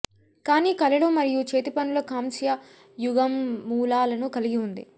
కానీ కళలు మరియు చేతిపనుల కాంస్య యుగం మూలాలను కలిగి ఉంది